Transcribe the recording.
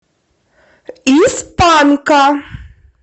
из панка